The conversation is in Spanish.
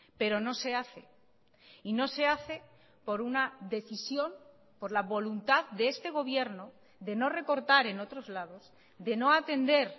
pero no se hace y no se hace por una decisión por la voluntad de este gobierno de no recortar en otros lados de no atender